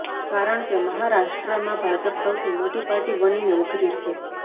કારણ કે મહારાષ્ટ્રમાં ભાજપ સૌથી મોટી પાર્ટી બનીને ઉભરી છે